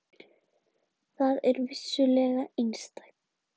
Það er vissulega einstakt.